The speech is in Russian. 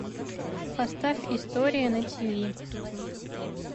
поставь история на тиви